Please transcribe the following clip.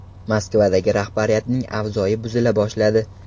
Moskvadagi rahbariyatning avzoyi buzila boshladi.